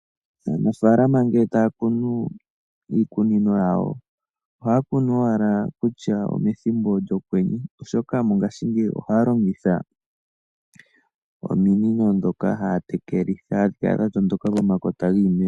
Aanafalama ngele taya kunu iimeno yawo ohaya kunu owala kutya omethimbo lyokwenye, oshoka mongaashingeyi ohaya longitha ominino ndhoka haya tekelitha iimeno yawo hadhi kala dha tondoka pomakota giimeno.